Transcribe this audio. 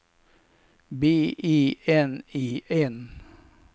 B E N E N